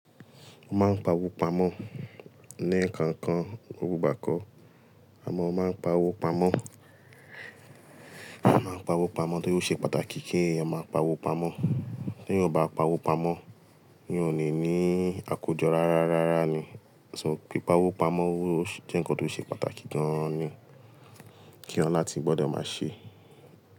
A máa ń pawó pamọ́, ní nǹkankan gbogbo igbá kó, àmọ́ a máa ń pawó pamọ́. A máa ń pawó pamọ́ torí ó ṣe pàtàkì kí a máa pawó pamọ́. Teeyan ò bá pawó pamọ́, eeyan ò ní ní àkójọ rárá, rárá ni. So pé pawó pamọ́ jẹ́ nǹkan tó ṣe pàtàkì gan ni kí ọlá tí gbọ́dọ̀ máa ṣe.